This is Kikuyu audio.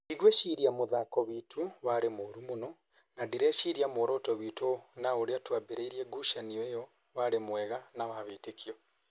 Ndigwĩciria mũthako witũ warĩ mũru mũno, na ndireciria muoroto witũ na ũrĩa twambĩrĩirie ngũcanio iyo warĩ mwega na wa wĩtĩkio